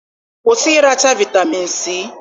kwụsị ịracha vitamin C